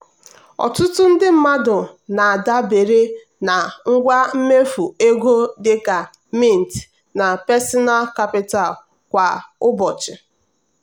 ọtụtụ ndị mmadụ na-adabere na ngwa mmefu ego dịka mint na personal capital kwa ụbọchị.